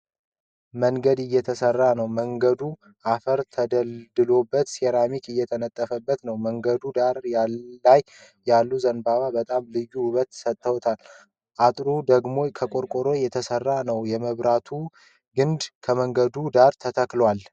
መንገድ እየተሰራ ነው ። መንገዱ አፈር ተደልድሎበት ሴራሚክ እየተነጠፈ ነው። በመንገዱ ዳር ላይ ያሉ ዘንባባዎች በጣም ልዩ ውበት ሰጥተውታል። አጥሩ ደግሞ ከቆርቆሮ የተሰራ ነው ። የመብራቱ ግንድ ከመንገዱ ዳር ተተክቷል።